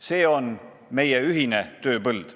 See on meie ühine tööpõld.